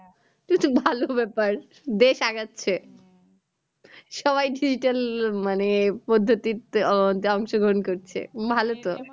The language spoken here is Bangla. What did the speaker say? এতো ভালো ব্যাপার দেশ আগাচ্ছে সবাই digital মানে পদ্ধতিতে আহ অংশ গ্রহণ করছে ভালো তো